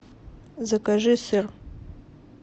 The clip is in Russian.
закажи сыр